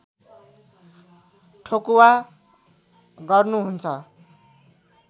ठोकुवा गर्नुहुन्छ